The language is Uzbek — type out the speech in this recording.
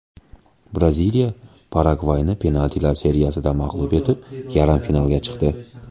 Braziliya Paragvayni penaltilar seriyasida mag‘lub etib, yarim finalga chiqdi.